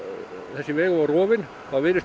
þessi vegur var rofinn og þá virðist